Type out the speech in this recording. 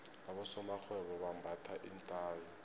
abosomarhwebo bambatha iinthayi